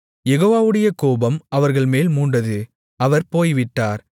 யெகோவாவுடைய கோபம் அவர்கள்மேல் மூண்டது அவர் போய்விட்டார்